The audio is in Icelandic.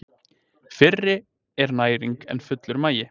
Fyrri er næring en fullur magi.